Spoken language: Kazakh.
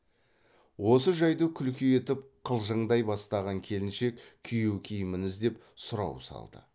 осы жайды күлкі етіп қалжыңдай бастаған келіншек күйеу киімін іздеп сұрау салды